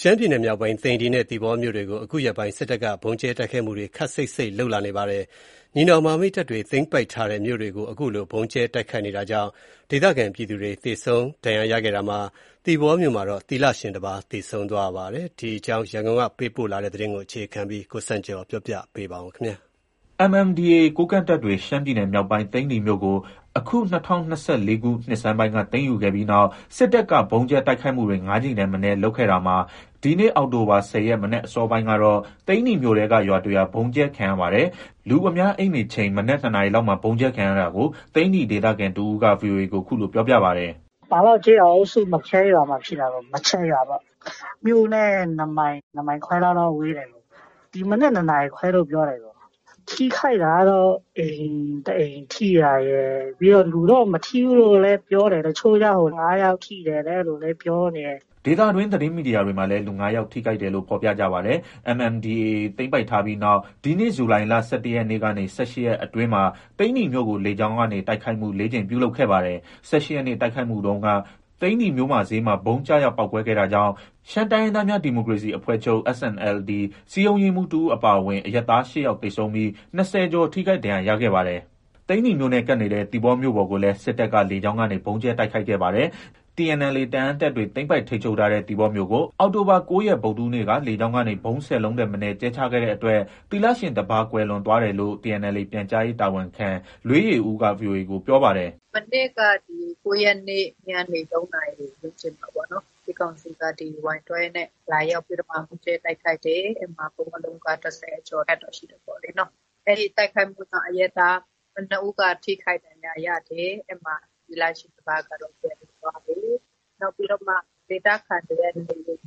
ရှမ်းပြည်နယ်မြောက်ပိုင်း သိန္နီနဲ့ သီပေါမြို့တွေကို အခုရက်ပိုင်း စစ်တပ်က ဗုံးကြဲတိုက်ခိုက်မှုတွေ ခပ်စိပ်စိပ် လုပ်နေပါတယ်။ ညီနောင်မဟာမိတ်တပ်တွေ သိမ်းပိုက်ထားတဲ့ မြို့တွေကို ခုလို ဗုံးကြဲတိုက်ခိုက်နေတာကြောင့် ဒေသခံ ပြည်သူတွေ သေဆုံး ဒဏ်ရာရခဲ့တာမှာ သီပေါမြို့မှာ သီလရှင်တပါး သေဆုံးသွားပါတယ်။ ရှမ်းပြည်မြောက်ပိုင်းမှာ စစ်တပ်ရဲ့ လေကြောင်းတိုက်ခိုက်မှုအကြောင်း ရန်ကုန်ကပေးပို့တဲ့သတင်းကို အခြေခံပြီး တင်ပြထားပါတယ်။ MNDAA ကိုးကန့်တပ်တွေ ရှမ်းပြည်နယ်မြောက်ပိုင်း သိန္နီမြို့ကို အခု ၂၀၂၄ ခုနှစ်ဆန်းပိုင်းက သိမ်းယူခဲ့ပြီးနောက် စစ်တပ်က ဗုံးကြဲတိုက်ခိုက်မှုတွေ ၅ ကြိမ်ထက်မနည်းလုပ်ခဲ့တာမှာ ဒီနေ့ အောက်တိုဘာ ၁၀ ရက် မနက်အစောပိုင်းကတော့ သိန္နီမြို့နယ်ထဲက ရွာတရွာ ဗုံးကြဲခံရပါတယ်။ လူအများအိပ်နေချိန် မနက် ၂ နာရီလောက်မှာ ဗုံးကြဲခံရတာကို သိန္နီဒေသခံတဦးက ဗွီအိုအေကို ခုလိုပြောပြပါတယ်။ “ပန်လော့ကျေးရွာအုပ်စု မန်ချက်ရွာမှာဖြစ်တာ။ မန်ချက်ရွာပေါ့။ မြို့နဲ့ ၂ မိုင်၊ ၂ မိုင်ခွဲလောက်တော့ ဝေးတယ်။ ဒီမနက် ၂နာရီခွဲလို့ ပြောတယ်။ ထိခိုက်တာကတော့ အိမ် တအိမ် ထိတာရယ်။ ပြီးတော့ လူတော့ မထိဘူးလို့ လည်း ပြောတယ်။ တချို့ကျ ၅ယောက် ထိတယ်တဲ့ အဲလိုလည်း ပြောနေတယ်။” ဒေသသတင်းမီဒီယာတွေမှာလည်း လူ ၅ ယောက် ထိခိုက်တယ်လို့ ဖော်ပြကြပါတယ်။ MNDAA သိမ်းပိုက်ထားပြီးနောက် ဒီနှစ် ဇူလိုင်လ ၁၁ ရက်ကနေ ၁၈ ရက်အတွင်းမှာ သိန္နီမြို့ကို လေကြောင်းတိုက်ခိုက်မှု ၄ ကြိမ်ပြုလုပ်ခဲ့ပါတယ်။ ၁၈ ရက်နေ့ တိုက်ခိုက်မှုတုန်းက သိန္နီမြို့မဈေးမှ ဗုံးကျရောက် ပေါက်ကွဲခဲ့တာကြောင့် ရှမ်းတိုင်းရင်းသားများ ဒီမိုကရေစီအဖွဲ့ချုပ် SNLD စည်းရုံးရေးမှုးတဦး အပါအဝင် အရပ်သား ၈ယောက်သေဆုံးပြီး ၂၀ ကျော် ထိခိုက်ဒဏ်ရာရခဲ့ပါတယ်။ သိန္နီမြို့နဲ့ကပ်နေတဲ့ သီပေါမြို့ပေါ်ကိုလည်း စစ်တပ်က လေကြောင်းကနေ ဗုံးကြဲတိုက်ခိုက်ခဲ့ပါတယ်။ TNLA တအာင်းတပ်တွေ သိမ်းပိုက် ထိမ်းချုပ်ထားတဲ့ သီပေါမြို့ကို အောက်တိုဘာ ၉ ရက်နေ့က ဗုဒ္ဓဟူးနေ့က လေကြောင်းကနေ ဗုံး ၁၀ လုံးထက်မနည်း ကြဲချခဲ့တဲ့အတွက် သီလရှင်တပါး ကွယ်လွန်သွားတယ်လို့ TNLA ပြန်ကြားရေး တာဝန်ခံ လွေးယေဦးက ဗွီအိုအေကို ပြောပါတယ်။ “မနေ့က ဒီ ၉ရက်နေ့ ညနေ ၃နာရီ ဝန်းကျင်မှာနော်။ စစ်ကောင်စီက Y 12 နဲ့ လာရောက်ပြီးတော့မှ ဗုံးကြဲတိုက်ခိုက်တယ်။ အဲဒီမှာ ဗုံးအလုံးက ၁၀ ကျော်တော့ ရှိတာပေါ့။ အဲဒီတိုက်ခိုက်မှုကြောင့် အရပ်သား ၇ ဦးက ထိခိုက်ဒဏ်ရရာတယ်။ သီလရှင်တပါးကတော့ ပျံလွန်သွားတယ်။ နောက်ပြီးတော့မှ ဒေသခံတွေရဲ့ နေအိမ်တွေ၊